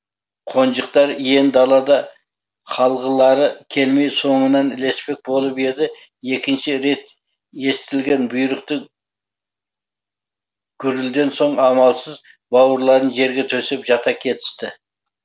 қонжықтар иен далада қалғылары келмей соңынан ілеспек болып еді екінші рет естілген бұйрықты гүрілден соң амалсыз бауырларын жерге төсеп жата кетісті